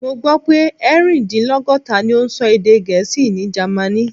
Mo gbó pé erin-din-logota ni ó ń sọ èdè Gẹ̀ẹ́sì ní Germany.